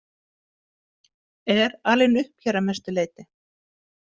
Er alinn upp hér að mestu leyti.